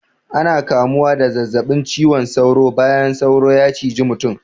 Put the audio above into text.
Ana kamuwa da zazzabin ciwon sauro bayan sauro ya ciji mutum.